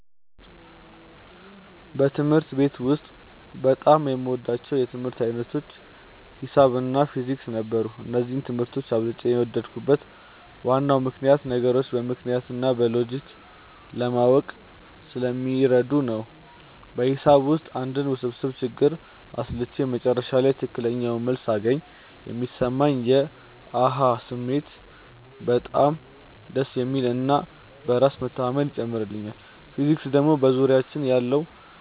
በትምህርት ቤት ውስጥ በጣም የምወዳቸው የትምህርት ዓይነቶች ሒሳብ እና ፊዚክስ ነበሩ። እነዚህን ትምህርቶች አብልጬ የወደድኩበት ዋናው ምክንያት ነገሮችን በምክንያት እና በሎጂክ ለማወቅ ስለሚረዱ ነው። በሒሳብ ውስጥ አንድን ውስብስብ ችግር አስልቼ መጨረሻ ላይ ትክክለኛውን መልስ ሳገኝ የሚሰማኝ የ "አሃ" ስሜት በጣም ደስ የሚል እና በራስ መተማመንን ይጨምርልኛል። ፊዚክስ ደግሞ በዙሪያችን ያለው